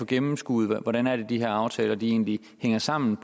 gennemskue hvordan de her aftaler egentlig hænger sammen